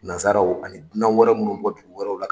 Nansaraw ani dunan wɛrɛ munnu be bɔ dugu wɛrɛw la